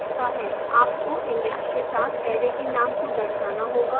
आपको index के साथ array के name को दर्शाना होगा